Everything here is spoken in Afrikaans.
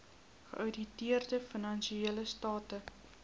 geouditeerde finansiële state